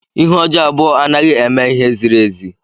Ihe ọjọọ abụọ anaghị eme ihe ziri ezi.